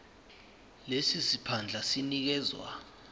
lesi siphandla sinikezwa